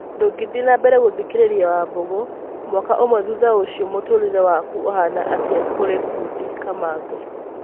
Ndũngĩthiĩ na mbere gũthĩkĩrĩria Wambũgũ.: mwaka ũmwe thutha ũcio mũtũrĩre waku ũhana atĩa kũrĩ fundĩ Kamangũ?